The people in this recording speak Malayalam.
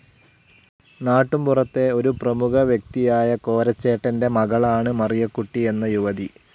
നാട്ടുമ്പുറത്തെ ഒരു പ്രമുഖവ്യക്തിയായ കോരച്ചേട്ടന്റെ മകളാണ് മറിയക്കുട്ടി എന്ന യുവതി.